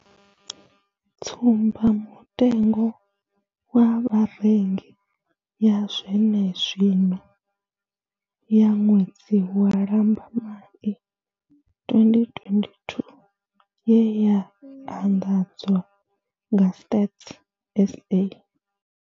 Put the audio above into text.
Tsumbamutengo wa Vharengi ya zwenezwino ya ṅwedzi wa lambamai 2022 ye ya anḓadzwa nga Stats SA.